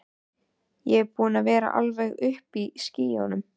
Ég er búinn að vera alveg uppi í skýjunum.